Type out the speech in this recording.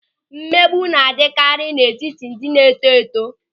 Mmegbu na-adịkarị n'etiti ndị na-eto eto.